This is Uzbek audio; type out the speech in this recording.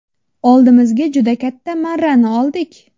Oldimizga juda katta marrani oldik.